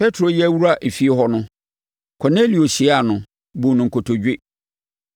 Petro reyɛ awura efie hɔ no, Kornelio hyiaa no, buu no nkotodwe.